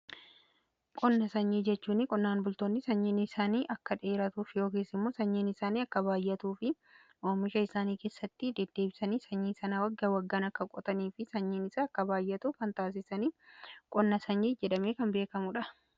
Qonna sanyii jechuuni qonnaan bultoonni sanyiin isaanii akka dheeratuuf yookiis immoo sanyiin isaanii akka baayyatuu fi oomisha isaanii keessatti deddeebisanii sanyii sanaa wagga waggaan kan qotanii fi sanyiin isaa akka baayyatuuf kan taasisani, qonna sanyii jedhamee kan beekamudha.